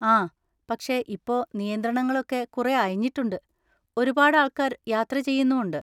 ആ, പക്ഷെ ഇപ്പൊ നിയന്ത്രണങ്ങളൊക്കെ കുറെ അയഞ്ഞിട്ടുണ്ട്, ഒരുപാട് ആൾക്കാർ യാത്ര ചെയ്യുന്നും ഉണ്ട്.